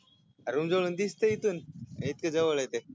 रुमजवळूून दिसतो इथून इतकं जवळय ते